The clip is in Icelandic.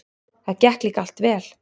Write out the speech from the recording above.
Það gekk líka allt vel.